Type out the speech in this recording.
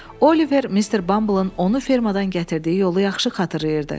Oliver Mister Bumbleın onu fermadan gətirdiyi yolu yaxşı xatırlayırdı.